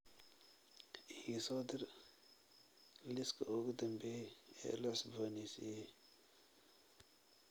ii soo dir liiska ugu dambeeyay ee la cusbooneysiiyay